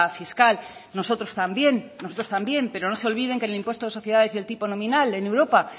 fiscal nosotros también nosotros también pero no se olviden que en el impuesto de sociedades y el tipo nominal en europa